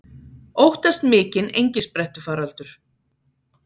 Óttast mikinn engisprettufaraldur